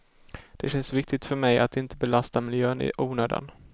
Det känns viktigt för mig att inte belasta miljön i onödan.